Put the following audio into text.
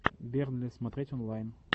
бернли смотреть онлайн